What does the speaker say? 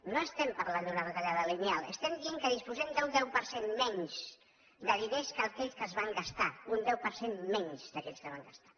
no estem parlant d’una retallada lineal estem dient que disposem d’un deu per cent menys de diners que aquells que es van gastar un deu per cent menys d’aquells que es van gastar